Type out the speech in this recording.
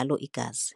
angalo igazi.